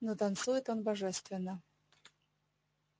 но танцует он божественно